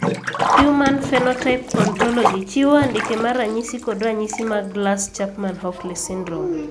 Human Phenotype Ontology chiwo andike mar ranyisi kod ranyisi mag Glass Chapman Hockley syndrome.